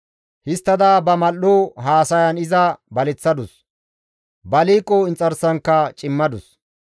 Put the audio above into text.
Histtada ba mal7o haasayan iza baleththadus; ba liiqo inxarsankka cimmadus.